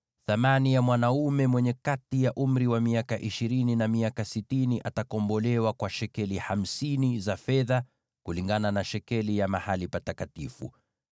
thamani ya kukomboa mwanaume mwenye kati ya umri wa miaka ishirini na miaka sitini itakuwa shekeli hamsini za fedha, kulingana na shekeli ya mahali patakatifu;